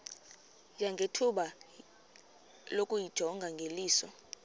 nangethuba lokuyijonga ngeliso